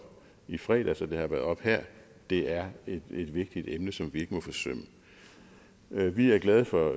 i fredags og det har været oppe her det er et vigtigt emne som vi ikke må forsømme vi er glade for